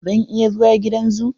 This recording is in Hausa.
Zan iya zuwa gidan zoo?